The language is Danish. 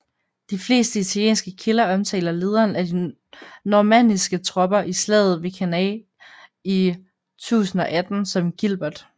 De fleste italienske kilder omtaler lederen af de normanniske tropper i slaget ved Cannae i 1018 som Gilbert